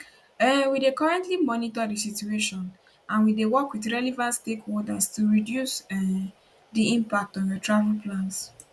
um we dey currently monitor di situation and we dey work wit relevant stakeholders to reduce um di impact on your travel plans